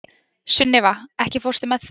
Sunniva, ekki fórstu með þeim?